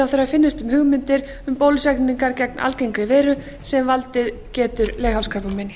finnist um hugmyndir um bólusetningar gegn algengri veiru sem valdið getur leghálskrabbameini